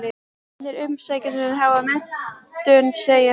Hinir umsækjendurnir hafa menntun, segir hann.